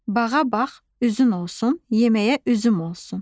Bağa bağ uzun olsun, yeməyə üzüm olsun.